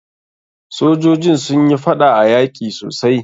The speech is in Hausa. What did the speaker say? Sojoji sun yi faɗa a yaki sosai.